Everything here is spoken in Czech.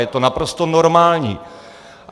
Je to naprosto normální.